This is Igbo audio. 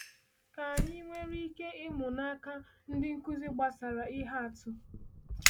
Kí anyị nwere ike ịmụ n’aka ndị nkuzi gbasàra ihe atụ?